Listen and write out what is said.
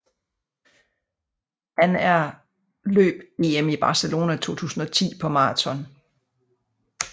Han er løb EM i Barcelona 2010 på maraton